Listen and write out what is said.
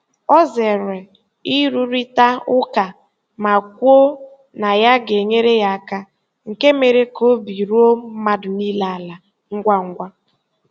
Ọ zere ịrụrịta ụka ma kwuo na ya ga-enyere ya aka, nke mere ka obi ruo mmadụ niile ala ngwa ngwa.